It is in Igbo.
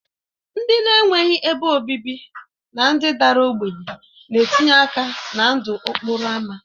Ndị na-enweghị ebe obibi na ndị dara ogbenye na-etinye aka na ndụ okporo ámá